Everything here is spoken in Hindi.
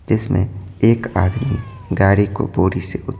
जिसमें एक आदमी गाड़ी को बोड़ी से उ--